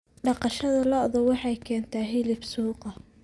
Dhaqashada lo'du waxay keentaa hilib suuqa.